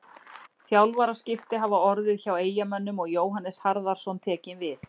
Þjálfaraskipti hafa orðið hjá Eyjamönnum og Jóhannes Harðarson tekinn við.